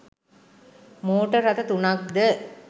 motor රථ තුනක් ද